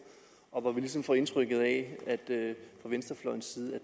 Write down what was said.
og hvor vi ligesom får indtrykket af fra venstrefløjens side